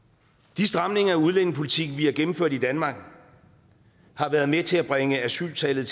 de stramninger af udlændingepolitikken som vi har gennemført i danmark har været med til at bringe asyltallet